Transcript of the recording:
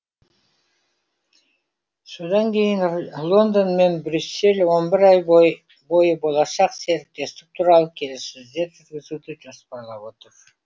содан кейін лондон мен брюссель он бір ай бойы болашақ серіктестік туралы келіссөздер жүргізуді жоспарлап отыр